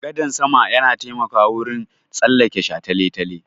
Gadan sama yana taimakawa wurin tsallake shataletale.